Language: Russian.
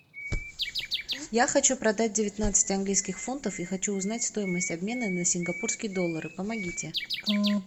я хочу продать девятнадцать английских фунтов и хочу узнать стоимость обмена на сингапурские доллары помогите